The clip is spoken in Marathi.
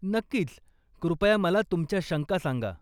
नक्कीच, कृपया मला तुमच्या शंका सांगा.